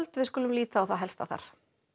við skulum líta á það helsta þar